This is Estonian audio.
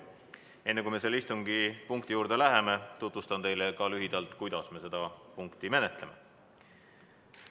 Enne kui me selle punkti juurde läheme, tutvustan teile lühidalt, kuidas me seda menetleme.